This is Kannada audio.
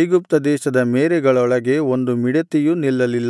ಐಗುಪ್ತ ದೇಶದ ಮೇರೆಗಳೊಳಗೆ ಒಂದು ಮಿಡತೆಯೂ ನಿಲ್ಲಲಿಲ್ಲ